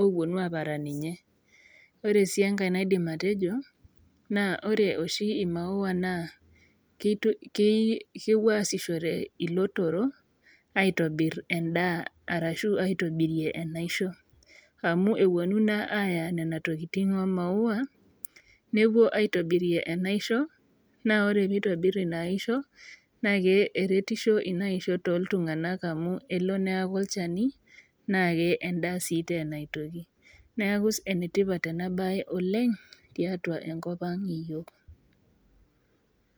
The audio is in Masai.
oponu aparan ninye . Ore sii enkae naidim atejo naa ore oshi imaua naa kepuo asishore ilotorok aitobir endaa ashu aitobirie enaisho amu eponu naa aya nena tokitin omaua nepuo aitobirie enaisho naa ore pitobir enaisho naa eretisho inaisho toltunganak amu elo neaku olchani naa endaa sii tena aitoki , neeku enetipat enabae oleng , tiatua enkopang iyiok.